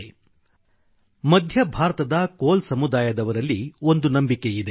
• ಮಧ್ಯ ಭಾರತದ ಕೋಲ ಸಮುದಾಯದವರಲ್ಲಿ ಒಂದು ನಂಬಿಕೆಯಿದೆ